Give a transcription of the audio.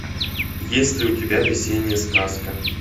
есть ли у тебя весенняя сказка